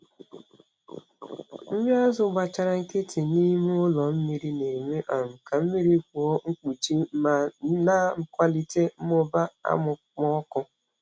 Nri azụ gbachara nkịtị n’ime ụlọ mmiri na-eme um ka mmiri kpụọ mkpuchi ma na-akwalite mmụba amụmọkụ.